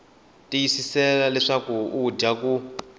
tiyiseka leswaku u dya ku